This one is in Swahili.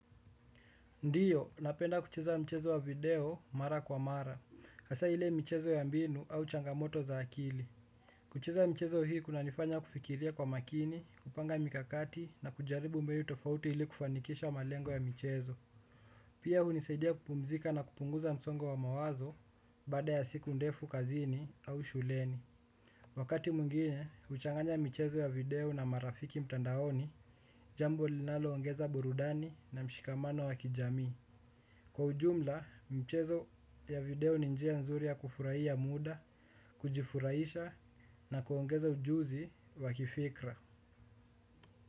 Ndiyo, napenda kucheza mchezo wa video mara kwa mara, hasa ile michezo ya mbinu au changamoto za akili. Kucheza mchezo hii kunanifanya kufikiria kwa makini, kupanga mikakati na kujaribu mbinu tofauti ili kufanikisha malengo ya michezo. Pia hunisaidia kupumzika na kupunguza msongo wa mawazo, bada ya siku ndefu kazini au shuleni. Wakati mwingine, huchanganya michezo ya video na marafiki mtandaoni, jambo linaloongeza burudani na mshikamano wa kijamii. Kwa ujumla, mchezo ya video ni njia nzuri ya kufurahia muda, kujifurahisha na kuongeza ujuzi wa kifikra.